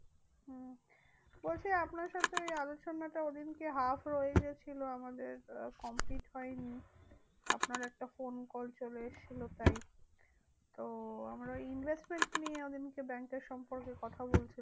বলছি আপনার সাথে ওই আলোচনাটা ঐদিনকে half রয়েগেছিলো আমাদের complete হয়নি। আপনার একটা ফোন কল চলে এসেছিল তাই। তো আমরা Investments নিয়ে ওদিনকে Bank এর সম্পর্কে কথা বলছিলাম।